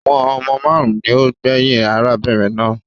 Àwọn ọmọ máarun ni ó gbẹyìn arábìnrin náà